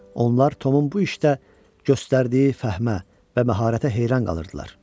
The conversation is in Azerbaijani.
Onlar Tomun bu işdə göstərdiyi fəhmə və məharətə heyran qalırdılar.